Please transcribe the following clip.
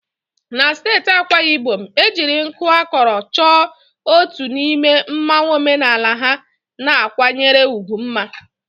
Na steeti Akwa Ibom, ejiri nku akọrọ chọọ otu n'ime mmanwu omenala ha na-akwanyere ugwu mma.